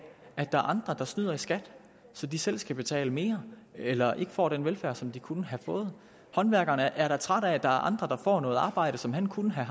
at der er andre der snyder i skat så de selv skal betale mere eller ikke får den velfærd som de kunne have fået håndværkeren er da træt af at der er andre der får noget arbejde som han kunne have